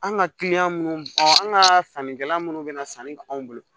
An ka kiliyan minnu bɔn an ka sannikɛla minnu bɛ na sanni kɛ anw bolo